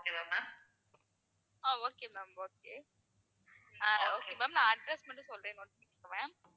ஆஹ் okay ma'am okay ah okay ma'am நான் address மட்டும் சொல்றேன் note பண்ணிக்கோங்க ma'am